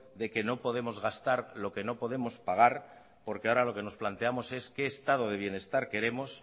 de que no podemos gastar lo que no podemos pagar porque ahora lo que nos planteamos es qué estado de bienestar queremos